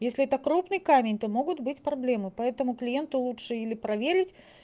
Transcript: если это крупный камень то могут быть проблемы поэтому клиенту лучше или проверить